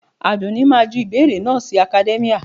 Àdùnní máa ju ìbéèrè náà sí academia